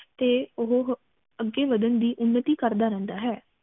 ਤੇ ਉਹ ਅਗੇ ਵਧਣ ਦੀ ਉਨਤੀ ਕਰਦਾ ਰਹਿੰਦਾ ਹੈ